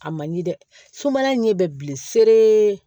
A man ɲi dɛ sumaya in ɲɛ bɛ bilen see